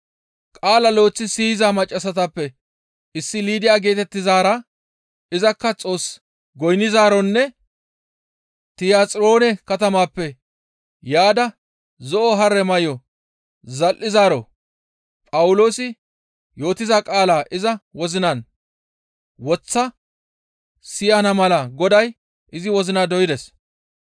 Qaala lo7eththi siyiza maccassatappe issi Liidiya geetettizaara izakka Xoos goynnizaaronne Tiyaxiroone katamaappe yaada zo7o Haare may7o zal7izaaro Phawuloosi yootiza qaalaa iza wozinan woththa siyana mala Goday izi wozina doydes.